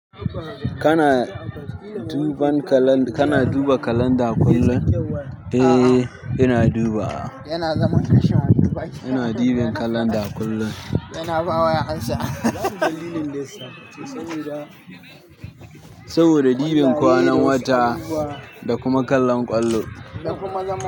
Kana duban kalan, kana duba kalanda kullum. Eh, ina dubawa. Kana duba kalanda kullum saboda ɗiban kwanan wata da kuma kallon ƙwallo.